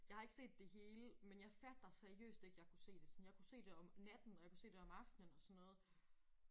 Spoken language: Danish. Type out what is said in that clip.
Jeg har ikke set det hele men jeg fatter seriøst ikke jeg kunne se det. Sådan jeg kunne se det om natten og jeg kunne se det om aftenen og sådan noget